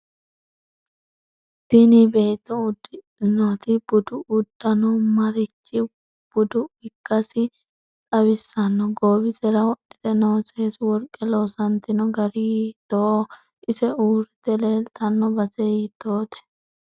Tini beeto uddidhinoti budu uddanno marichi budia ikkase xawissanno goowisera wodhite noo seesu worqe loosantino gari hiitooho ise uurite leeltanno base hiitoote